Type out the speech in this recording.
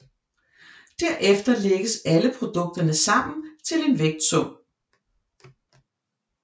Derefter lægges alle produkterne sammen til en vægtsum